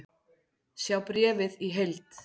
Sjá bréfið í heild